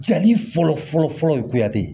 Jali fɔlɔ fɔlɔ fɔlɔ ye